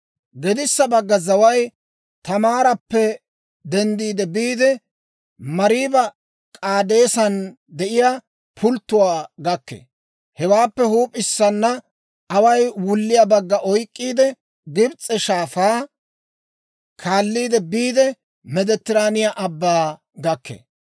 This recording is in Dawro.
«Gedissa bagga zaway Taamaarappe denddiide biide, Mariiba-K'aadeesan de'iyaa pulttuwaa gakkee. Hewaappe huup'issana away wulliyaa bagga oyk'k'iide, Gibs'e Shaafaa kaalliide biide, Meeditiraaniyaa Abbaa gakkee.